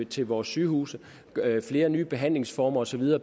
til vores sygehuse flere nye behandlingsformer og så videre